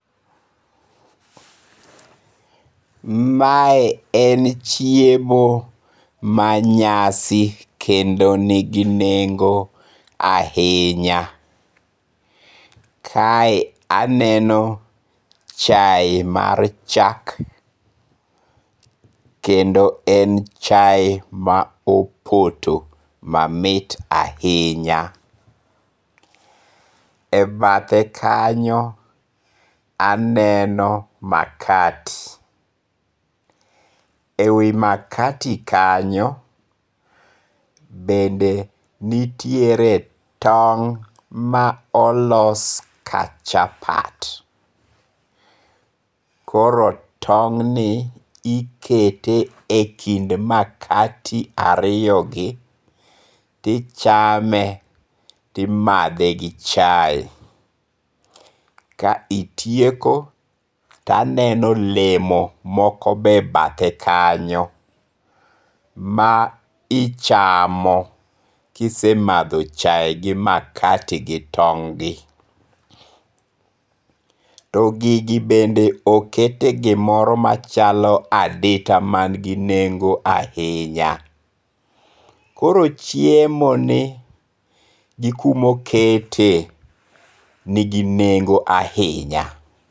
Mae en chiemo manyasi kendo en gi nengo' ahinya, kae aneno chaye mar chak kendo en chae ma opoto mamit ahinya, e bathe kanyo aneno makati, e wi makati kanyo bende nitiere tong' ma olosi ka chapat, koro tong'ni ikete e kind makati ariyogi tichame timathe gi chae, ka itieko to aneno olemo moko be e bathe kanyo ma ichamo kise matho chai gi makati gi tong'gi, to gigi bende okete gimoro machalo adita man gi nengo' ahinya, koro chiemoni gi kuma oketie nigi nengo' ahinya.